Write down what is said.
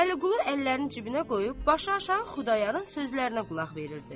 Vəliqulu əllərini cibinə qoyub, başı aşağı Xudayarın sözlərinə qulaq verirdi.